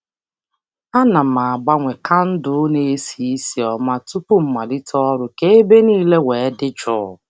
A na m agbanye kandụl na - esi isi ọma tupu m malite ọrụ ka ebe niile wee dị jụụ